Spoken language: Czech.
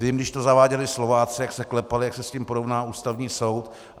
Vím, když to zaváděli Slováci, jak se klepali, jak se s tím porovná Ústavní soud.